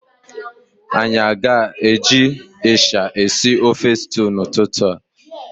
Anyị aga eji ịsha eshi ofe stew n'ụtụtụ a?